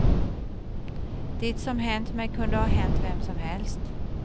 Det som hänt mig kunde ha hänt vem som helst.